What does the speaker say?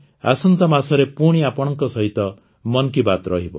ଆସନ୍ତା ମାସରେ ପୁଣି ଆପଣଙ୍କ ସହିତ ମନ୍ କି ବାତ୍ ରହିବ